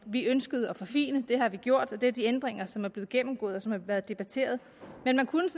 vi ønskede at forfine det har vi gjort og det er de ændringer som er blevet gennemgået og som er blevet debatteret man kunne